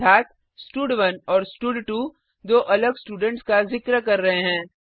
अर्थात स्टड1 और स्टड2 दो अलग स्टूडेंट्स का जिक्र कर रहे हैं